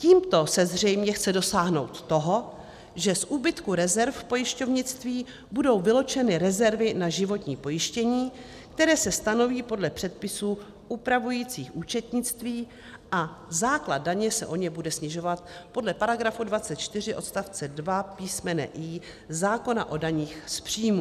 Tímto se zřejmě chce dosáhnout toho, že z úbytku rezerv v pojišťovnictví budou vyloučeny rezervy na životní pojištění, které se stanoví podle předpisů upravujících účetnictví, a základ daně se o ně bude snižovat podle § 24 odst. 2 písm. i) zákona o daních z příjmů.